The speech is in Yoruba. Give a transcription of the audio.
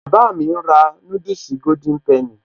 Bàbá mi ń rà núdùsì Golden penny